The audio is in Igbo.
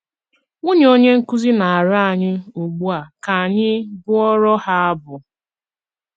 Nwunye onye nkúzí ná-àrịọ ányị́ ugbu a ká ányị́ bụọrọ ha abụ.